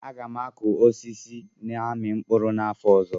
Aga m akụ osisi na-amị mkpụrụ n'afọ ọzọ